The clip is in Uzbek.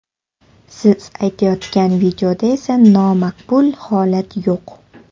Siz aytayotgan videoda esa nomaqbul holat yo‘q.